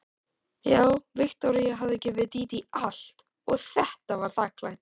Já, Viktoría hafði gefið Dídí allt og þetta var þakklætið.